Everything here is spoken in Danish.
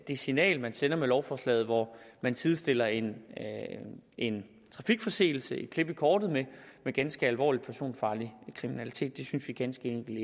det signal man sender med lovforslaget hvor man sidestiller en en trafikforseelse et klip i kortet med ganske alvorlig personfarlig kriminalitet det synes vi ganske enkelt